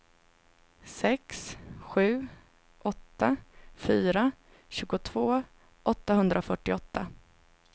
sex sju åtta fyra tjugotvå åttahundrafyrtioåtta